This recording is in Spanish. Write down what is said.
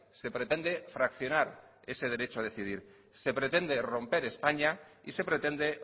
se pretende fraccionar ese derecho a decidir se pretende romper españa y se pretende